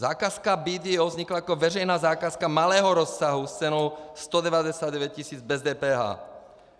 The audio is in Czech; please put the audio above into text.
Zakázka BDO vznikla jako veřejná zakázka malého rozsahu s cenou 199 tis. bez DPH.